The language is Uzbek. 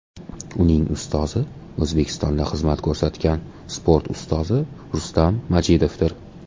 Uning ustozi O‘zbekistonda xizmat ko‘rsatgan sport ustozi Rustam Majidovdir.